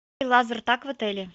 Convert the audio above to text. лазертаг в отеле